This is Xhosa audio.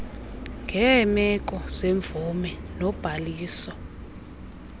ngeemeko zemvume nobhaliso